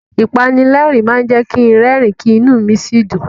Ìpanilẹ́rìn-ín máa jẹ́ kin rẹ́rìn-ín, kí inú mi sì dùn.